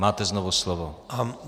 Máte znovu slovo.